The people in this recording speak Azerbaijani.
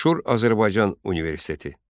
Məşhur Azərbaycan Universiteti.